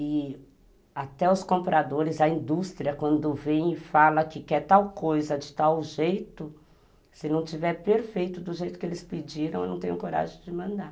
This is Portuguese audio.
E até os compradores, a indústria, quando vem e fala que quer tal coisa de tal jeito, se não tiver perfeito do jeito que eles pediram, eu não tenho coragem de mandar.